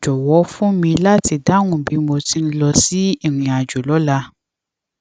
jòwó fún mi láti dáhùn bí mo ti ń lọ sí ìrìn àjò lọla